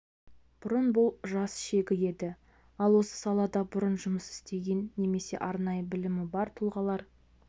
бұрын бұл жас шегі еді ал осы салада бұрын жұмыс істеген немесе арнайы білімі бар тұлғалар